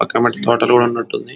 అక్కడ మట్టి తోటలు కూడా ఉన్నట్టు ఉంది.